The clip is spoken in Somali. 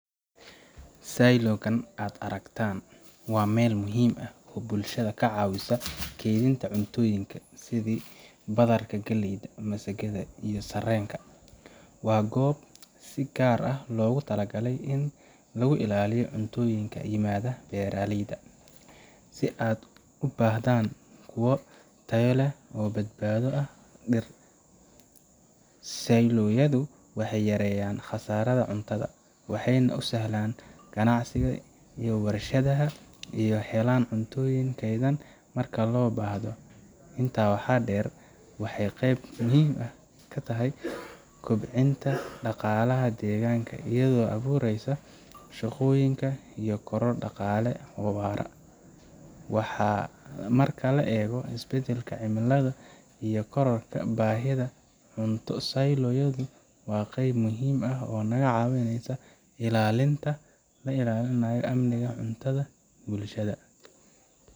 Silo kan aad aragtaan waa meel muhiim ah oo bulshada ka caawisa kaydinta cuntooyinka sidi badarka, galleyda, masagada iyo sarreenka. Waa goob si gaar ah loogu talagalay in lagu ilaaliyo cuntooyinka ka yimaada beeraleyda, si ad u ahaadaan kuwo tayo leh oo badbaado ah muddo dheer. Silo yadu waxay yareeyaan khasaaraha cuntada, waxayna u sahlaan ganacsatada iyo warshadaha inay helaan cunto kaydsan marka loo baahdo. Intaa waxaa dheer, waxay qayb muhiim ah ka tahay kobcinta dhaqaalaha deegaanka, iyadoo abuuraysa shaqooyinka iyo koror dhaqaale oo waara. Marka la eego isbedbedelka cimilada iyo kororka baahida cunto, Silo yadu waa qayb muhiim ah oo naga caawisa ilaalinta amniga cuntada ee bulshada.